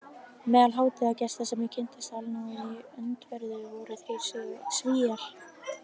Meðal hátíðargesta sem ég kynntist allnáið í öndverðu voru þrír Svíar